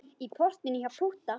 Í portinu hjá Pútta.